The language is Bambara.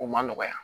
O man nɔgɔya